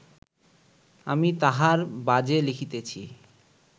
আমি তাঁহার বাজে লিখিতেছি